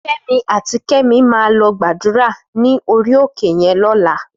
Femi àtí Kemi má lò gbàdúrá ni óri óké yèn lòlá